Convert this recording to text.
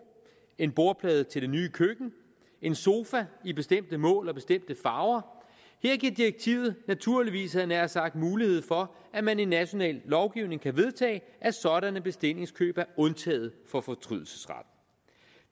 en bordplade til det nye køkken en sofa i bestemte mål og bestemte farver her giver direktivet naturligvis havde jeg nær sagt mulighed for at man i en national lovgivning kan vedtage at sådanne bestillingskøb er undtaget fra fortrydelsesretten